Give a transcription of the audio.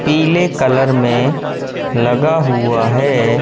पीले कलर में लगा हुआ है।